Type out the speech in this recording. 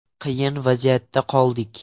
Qiyin vaziyatda qoldik.